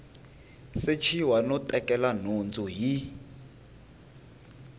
sechiwa no tekela nhundzu hi